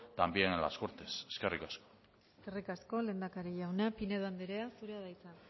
también en las cortes eskerrik asko eskerrik asko lehendakari jauna pinedo andrea zurea da hitza